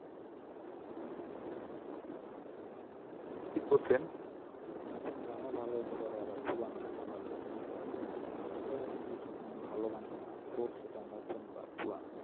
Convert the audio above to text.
ঠিক বলছেন। নতুন গানও ভালো হইতে পারে আবার পুরান গানও ভালো হইতে পারে। এখন আমাদের উচিত সবসময় ভালো গান শোনা, হোক সেটা নতুন বা পুরান।